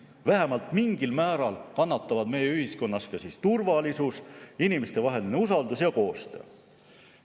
Vähemalt mingil määral kannatavad meie ühiskonnas ka turvalisus, inimestevaheline usaldus ja koostöö.